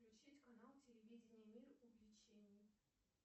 включить канал телевидения мир увлечений